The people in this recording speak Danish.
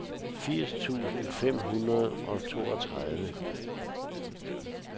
firs tusind fem hundrede og toogtredive